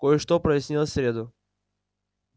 кое-что прояснилось в среду